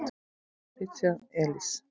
Richard Elis.